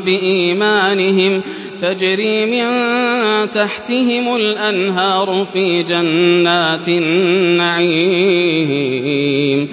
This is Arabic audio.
بِإِيمَانِهِمْ ۖ تَجْرِي مِن تَحْتِهِمُ الْأَنْهَارُ فِي جَنَّاتِ النَّعِيمِ